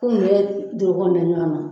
Ko na